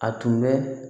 A tun bɛ